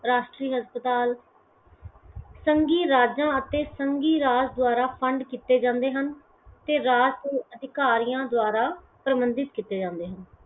ਰਾਸ਼ਟਰੀ ਹਸਪਤਾਲ, ਸੰਘੀ ਰਾਜਾਂ ਅਤੇ ਸੰਘੀ ਰਾਜ ਦਵਾਰਾ fund ਕੀਤੇ ਜਾਂਦੇ ਹਨ ਤੇ ਰਾਜ ਅਧਿਕਾਰੀਆਂ ਦਵਾਰਾ ਪਰਬੰਧਿਤ ਕੀਤੇ ਜਾਂਦੇ ਹਨ